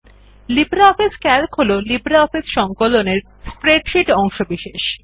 LibreOffice CALC হল LibreOffice সংকলন এর মধ্যে স্প্রেডশীট অংশবিশেষ